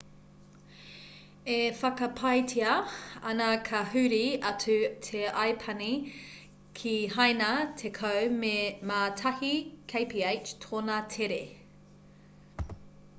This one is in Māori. e whakapaetia ana ka huri atu te aipani ki haina tekau mā tahi kph tōna tere